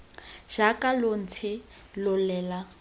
jaaka lo ntse lo lela